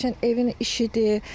Məsəl üçün evin işidir.